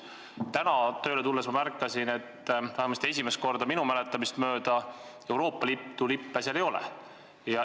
Täna tööle tulles ma märkasin, et vähemasti minu mäletamist mööda esimest korda seal Euroopa Liidu lippe ei ole.